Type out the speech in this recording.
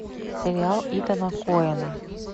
сериал итана коэна